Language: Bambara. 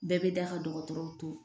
Bɛɛ bɛ da ka dɔgɔtɔrɔw to